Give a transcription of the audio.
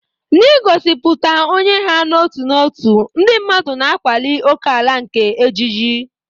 N'igosipụta onye ha n'otu n'otu, ndị mmadụ na-akwali ókèala nke ejiji.